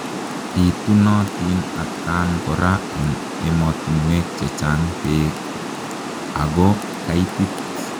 Pitunotin atkaan koraa eng emotinwek chechang peek ago kaitit.